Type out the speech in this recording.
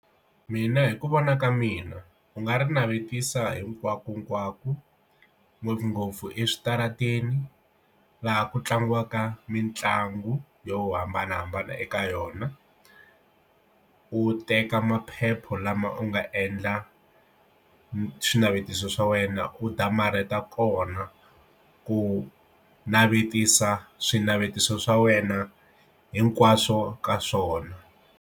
Mina hi ku vona ka mina u nga ri navetisa hinkwakonkwako ngopfungopfu eswitarateni laha ku tlangiwaka mitlangu yo hambanahambana eka yona u teka maphepha lama u nga endla swinavetiso swa wena udya mara ta kona ku navetisa swinavetiso swa wena hinkwaswo ka swona.